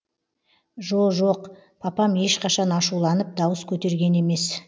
жо жоқ папам ешқашан ашуланып дауыс көтерген емес